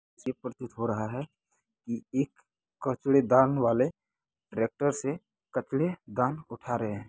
ये प्रतीत हो रहा है की एक कचरेदान वाले ट्रेक्टर से कचरे दान उठा रहे हैं।